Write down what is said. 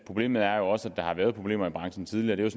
problemet er også at der har været problemer i branchen tidligere det var